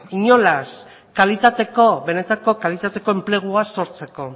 inolaz kalitateko benetako kalitateko enplegua sortzeko